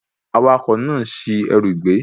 Awakọ̀ náà ṣi ẹrù gbé